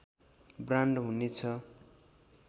brand हुने छ